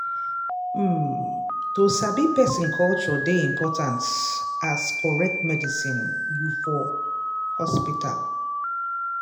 um to sabi person culture dey important as correct medicine you for hospital.